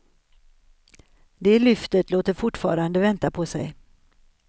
Det lyftet låter fortfarande vänta på sig.